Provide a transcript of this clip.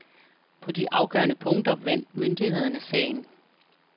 På de afgørende punkter vandt myndighederne sagen.